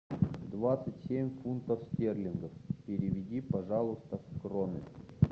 двадцать семь фунтов стерлингов переведи пожалуйста в кроны